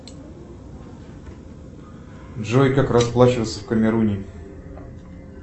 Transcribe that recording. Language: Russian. джой как расплачиваться в камеруне